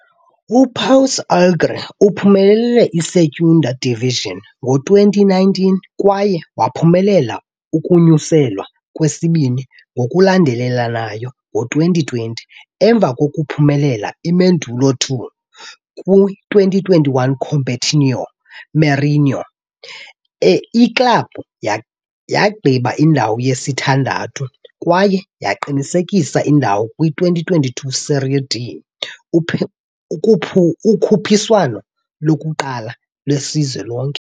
UPouso Alegre uphumelele iSegunda Divisão ngo-2019, kwaye waphumelela ukunyuselwa kwesibini ngokulandelelanayo ngo-2020 emva kokuphumelela iMódulo II. Kwi-2021 Campeonato Mineiro, iklabhu yagqiba indawo yesithandathu kwaye yaqinisekisa indawo kwi-2022 Série D, ukhuphiswano lokuqala lwesizwe lonke.